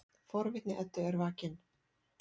Forvitni Eddu er vakin.